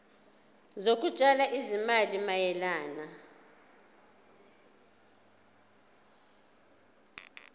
zokutshala izimali mayelana